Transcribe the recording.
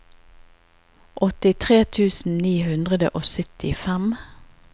åttitre tusen ni hundre og syttifem